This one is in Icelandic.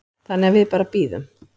Þannig að við bara bíðum.